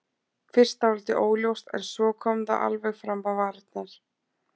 Fyrst dálítið óljóst en svo kom það alveg fram á varirnar.